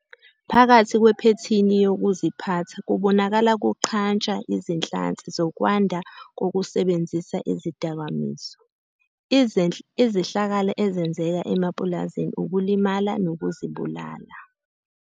Phakathi kwephethini yokuziphatha kubonakala kuqhantsha izinhlansi zokwanda kokusebenzisa izidakamizwa, izehlakalo ezenzeka emapulazini ukulimala nokuzibulala.